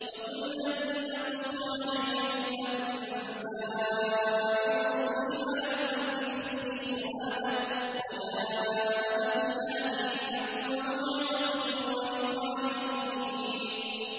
وَكُلًّا نَّقُصُّ عَلَيْكَ مِنْ أَنبَاءِ الرُّسُلِ مَا نُثَبِّتُ بِهِ فُؤَادَكَ ۚ وَجَاءَكَ فِي هَٰذِهِ الْحَقُّ وَمَوْعِظَةٌ وَذِكْرَىٰ لِلْمُؤْمِنِينَ